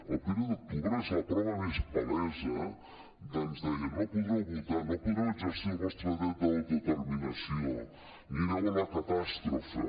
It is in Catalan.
el primer d’octubre és la prova més palesa ens deien no podreu votar no podreu exercir el vostre dret d’autodeterminació anireu a la catàstrofe